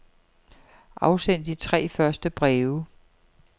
Afsend de tre første breve.